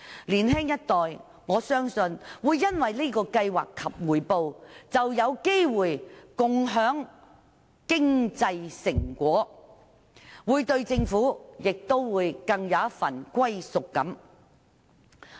在這個計劃下，我相信年青一代會有機會共享經濟成果，對香港會更有歸屬感。